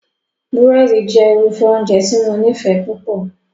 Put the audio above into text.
Búrẹ́dì jẹ́ irúfẹ́ oúnjẹ tí mo nífẹ̀ẹ́ púpọ̀